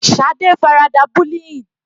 Shade farada bullying.